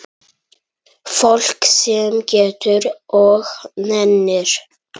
Fólk sem getur og nennir.